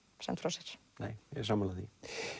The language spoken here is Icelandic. sent frá sér nei ég er sammála því